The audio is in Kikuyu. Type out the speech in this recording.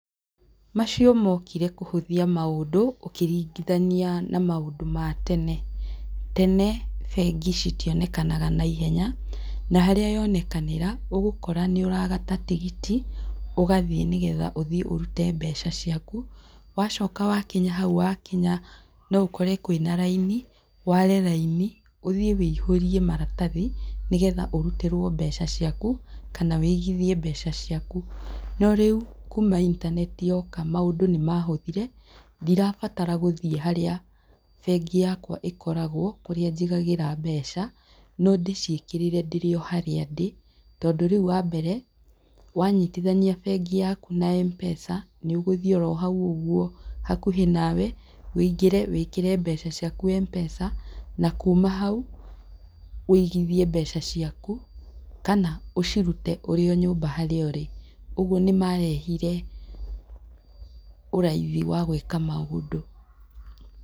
Macio mokire kũhũthia maũndũ, ũkĩringithania na maũndũ ma tene. Tene bengi citionekanaga na ihenya, na harĩa yonekanĩra, ũgũkora nĩ ũragata tigiti, ũgathiĩ nĩ getha ũthiĩ ũrute mbeca ciaku, wacoka wakinya hau wakinya, no ũkore kwĩna raini, ware raini, ũthiĩ wũihũrie maratathi, nĩ getha ũrutĩrwo mbeca ciaku, kana wũigithie mbeca ciaku. No rĩu kuuma intaneti yoka maũndũ nĩ mahũthire, ndirabatara gũthiĩ harĩa bengi yakwa ĩkoragwo, kũrĩa njigagĩra mbeca, no ndĩciĩkĩrĩre ndĩrĩ o harĩa ndĩ, tondũ rĩu wambere, wanyitithania bengi yaku na M-Pesa, nĩ ũgũthiĩ oro hau ũguo hakuhĩ nawe, wũingĩre, wĩkĩre mbeca ciaku M-Pesa, na kuuma hau wũigithie mbeca ciaku, kana ũcirute ũrĩ o nyũmba harĩa ũrĩ. Ũguo nĩ marehire ũraithi wa gwĩka maũndũ.